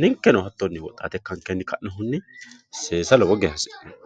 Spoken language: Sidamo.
ninkeno hattonni woxxaate ikkankenni ka'nohunni seesa lowo geya hasi'neemo